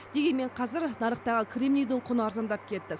дегенмен қазір нарықтағы кремнийдің құны арзандап кетті